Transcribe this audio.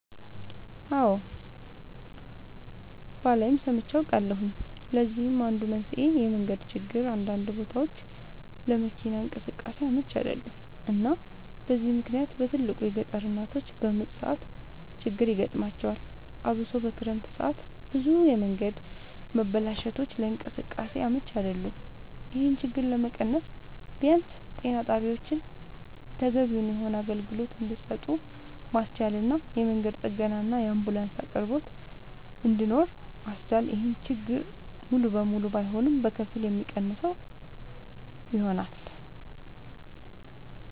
አወ ባላይም ሰምቼ አውቃለሁኝ ለዚህም አንዱ መንስኤ የመንገድ ችግር አንዳንድ ቦታወች ለመኪና እንቅስቃሴ አመች አይደሉም እና በዚህ ምክንያት በትልቁ የገጠር እናቶች በምጥ ሰዓት ችግር ይገጥማቸዋል አብሶ በክረምት ሰዓት ብዙ የመንገድ መበላሸቶች ለእንቅስቃሴ አመች አይደሉም ይሄን ችግር ለመቀነስ ቢያንስ ጤና ጣቢያወችን ተገቢውን የሆነ አገልግሎት እንድሰጡ ማስቻልና የመንገድ ጥገናና የአንቡላንስ አቅርቦት እንድኖር ማስቻል ይሄን ችግር ሙሉ ለሙሉ ባይሆንም በከፊል የሚቀንሰው ይሆናል